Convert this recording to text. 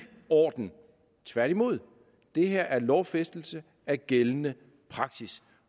orden tværtimod det her er en lovfæstelse af gældende praksis